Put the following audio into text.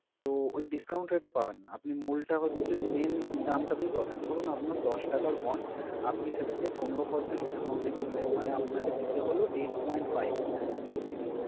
তো ওই discount rate এ পাবেন না, আপনি মূলটা হচ্ছে main দামটাতেই পাবেন। ধরুন, আপনার দশ টাকার bond আপনি সেটাকে পনেরো percent discount এ কিনলেন, মানে আপনাকে দিতে হলো eight point five rupees ।